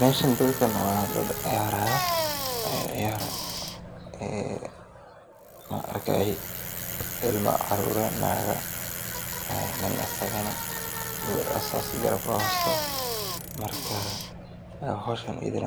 Meeshan dadkan waa dad ciyaarayo, waxaan arkaaya ilma caruur, ilma, naaga nin asagana garabka haysato, waa howl fican in